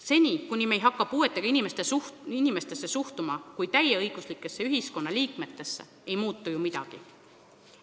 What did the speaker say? Seni, kuni me ei hakka puuetega inimestesse suhtuma kui täieõiguslikesse ühiskonnaliikmetesse, ei muutu midagi.